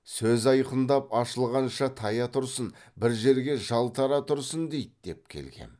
сөз айқындап ашылғанша тая тұрсын бір жерге жалтара тұрсын дейді деп келгем